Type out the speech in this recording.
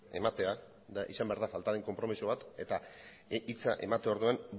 ematea eta izan behar den falta den konpromiso bat eta hitza emate orduan